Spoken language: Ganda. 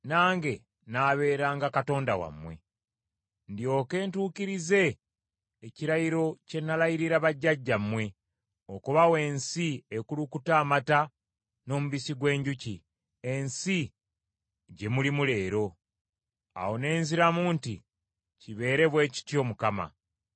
ndyoke ntuukirize ekirayiro kye nalayirira bajjajjammwe, okubawa ensi ekulukuta amata n’omubisi gw’enjuki, ensi gye mulimu leero.’ ” Awo ne nziramu nti, “Kibeere bwe kityo Mukama .”